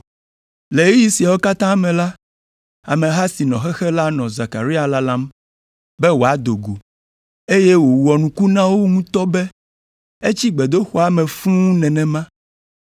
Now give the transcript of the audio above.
Le ɣeyiɣi siawo katã me la, ameha si nɔ xexe la nɔ Zekaria lalam be wòado go, eye wòwɔ nuku na wo ŋutɔ be etsi gbedoxɔa me fũu nenema.